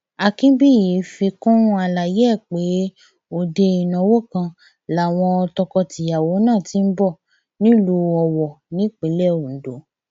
akínbíyí fi kún àlàyé ẹ pé òde ìnáwó kan làwọn tọkọtìyàwó náà ti ń bọ nílùú owó nípínlẹ ondo